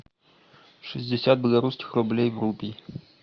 шестьдесят белорусских рублей в рупий